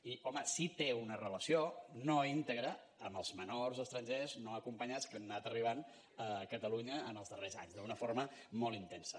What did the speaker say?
i home sí que té una relació no íntegra amb els menors estrangers no acompanyats que han anat arribant a catalunya en els darrers anys d’una forma molt intensa